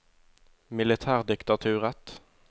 militærdiktaturet